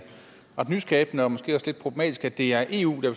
ret nyskabende og måske også lidt problematisk at det er eu der